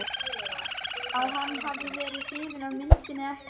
að hann hafi verið hrifinn af myndinni eða.